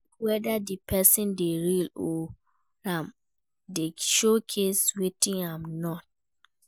Check whether di persin de real or im de showcase wetin I'm no be